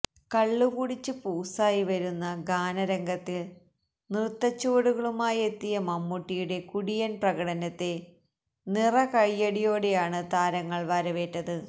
കള്ളുകുടിച്ച് പൂസായി വരുന്ന ഗാനരംഗത്തില് നൃത്തച്ചുവടുകളുമായെത്തിയ മമ്മൂട്ടിയുടെ കുടിയന് പ്രകടനത്തെ നിറകയ്യടിയോടെയാണ് താരങ്ങള് വരവേറ്റത്